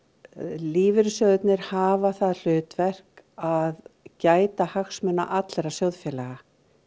lífeyrissjóðirnir hafa það hlutverk að gæta hagsmuna allra sjóðfélaga